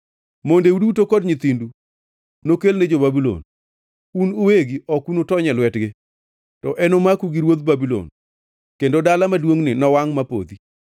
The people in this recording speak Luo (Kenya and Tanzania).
“Mondeu duto kod nyithindu nokelne jo-Babulon. Un uwegi ok unutony e lwetgi to enomaku gi ruodh Babulon; kendo dala maduongʼni nowangʼ mapodhi.”